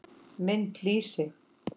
Mynd: Lýsi.